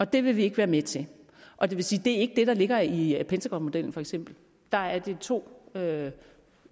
det vil vi ikke være med til og det er ikke det der ligger i pentagonmodellen for eksempel der er det to